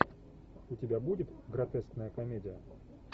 у тебя будет гротескная комедия